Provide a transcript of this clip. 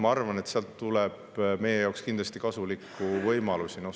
Ma arvan, et sealt tuleb meie jaoks kindlasti kasulikke võimalusi.